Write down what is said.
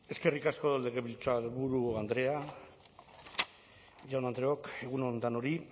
eskerrik asko legebiltzarburu andrea jaun andreok egun on danori